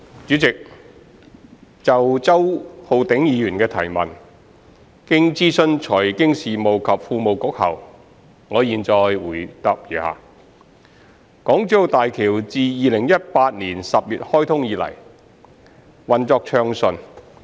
主席，就周浩鼎議員的質詢，經諮詢財經事務及庫務局後，我現答覆如下：港珠澳大橋自2018年10月開通以來，運作暢順。